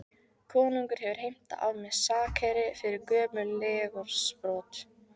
Konungur hefur heimtað af mér sakeyri fyrir gömul legorðsbrot.